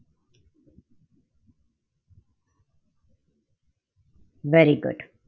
Very good.